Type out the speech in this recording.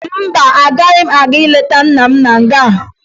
Mba, agaghị m aga leta nna m na nga